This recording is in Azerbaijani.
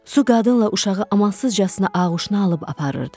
Su qadınla uşağı amansızcasına ağuşuna alıb aparırdı.